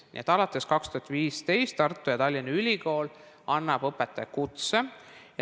Nii et alates 2015 annavad Tartu ja Tallinna Ülikool õpetaja kutset.